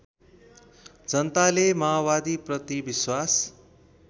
जनताले माओवादीप्रति विश्वास